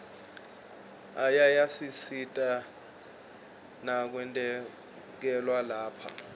ayasisita nakwetekwelapha